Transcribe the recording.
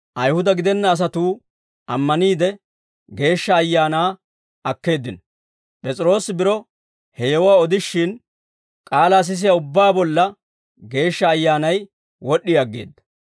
P'es'iroosi biro he yewuwaa odishin, k'aalaa sisiyaa ubbaa bolla Geeshsha Ayyaanay wod'd'i aggeedda.